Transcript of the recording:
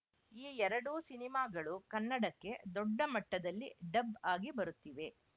ಈ ಎರಡೂ ಸಿನಿಮಾಗಳು ಕನ್ನಡಕ್ಕೆ ದೊಡ್ಡ ಮಟ್ಟದಲ್ಲಿ ಡಬ್‌ ಆಗಿ ಬರುತ್ತಿದೆ